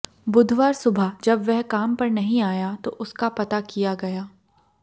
बुधवार सुबह जब वह काम पर नहीं आया तो उसका पता किया गया